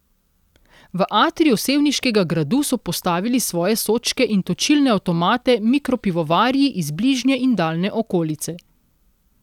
V atriju sevniškega gradu so postavili svoje sodčke in točilne avtomate mikropivovarji iz bližnje in daljne okolice.